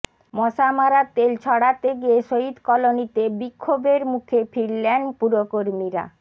মশা মারার তেল ছড়াতে গিয়ে শহিদ কলোনিতে বিক্ষোভের মুখে ফিরলেন পুরকর্মীরা